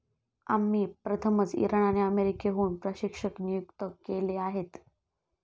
आम्ही प्रथमच इराण आणि अमेरिकेहून प्रशिक्षक नियुक्त केले आहेत.